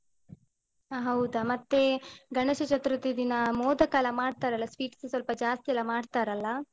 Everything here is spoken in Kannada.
ಅಹ್ ಹೌದಾ. ಮತ್ತೆ ಗಣೇಶ ಚತುರ್ಥಿ ದಿನ ಮೋದಕ ಎಲ್ಲ ಮಾಡ್ತಾರಲ್ಲ sweets ಸ್ವಲ್ಪ ಜಾಸ್ತಿ ಎಲ್ಲ ಮಾಡ್ತಾರಲ್ಲ.